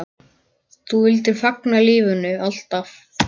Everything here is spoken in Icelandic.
Þú vildir fagna lífinu, alltaf.